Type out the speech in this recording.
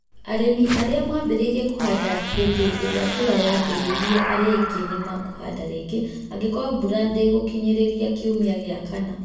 Ari͂mi ari͂a maambi͂ri͂irie ku͂handa hi͂ndi͂ i͂ri͂a mbura yaambi͂ ri͂irie (ari͂a aingi͂ ) ni ma ku͂handa ri͂ngi͂ angi͂koru͂o mbura ndi͂gu͂kinyi͂ri͂ria kiumia gi͂a kana.